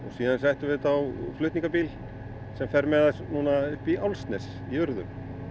síðan settum við þetta á flutningabíl sem fer með það núna upp í Álfsnes í urðun